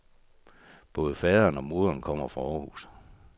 Både faderen og moderen kommer fra Århus.